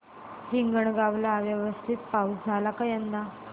हिंगणगाव ला व्यवस्थित पाऊस झाला का यंदा